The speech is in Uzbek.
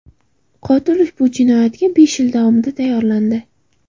Qotil ushbu jinoyatga besh yil davomida tayyorlandi.